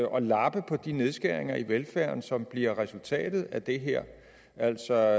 og lappe på de nedskæringer i velfærden som bliver resultatet af det her altså